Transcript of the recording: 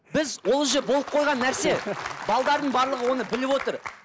біз ол уже болып қойған нәрсе барлығы оны біліп отыр